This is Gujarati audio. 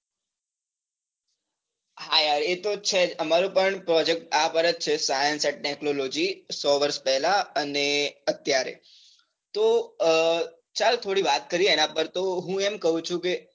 હા યાર એતો છે જ અમારો પણ project આ પર જ છે science and technology સો વર્ષ પહેલા અને અત્યારે, તો અ ચાલ થોડી વાત કરીએ એના પર તો હું એમ કહું છું કે,